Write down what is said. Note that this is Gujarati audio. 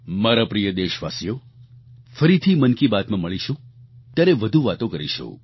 મારા પ્રિય દેશવાસીઓ ફરીથી મન કી બાતમાં મળશું ત્યારે વધુ વાતો કરીશું